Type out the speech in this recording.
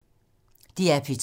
DR P2